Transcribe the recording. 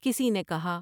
کسی نے کہا ۔